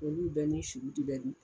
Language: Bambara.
Olu bɛɛ ni bɛ dun